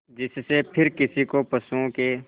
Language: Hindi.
जिससे फिर किसी को पशुओं के